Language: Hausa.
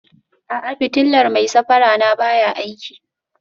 A'a, fitilar mai safara na baya aiki